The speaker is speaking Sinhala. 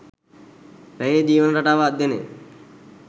රැහේ ජීවන රටාව අධ්‍යයනය